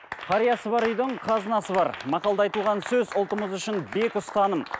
қариясы бар үйдің қазынасы бар мақалда айтылған сөз ұлтымыз үшін бек ұстаным